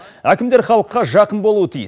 әкімдер халыққа жақын болуы тиіс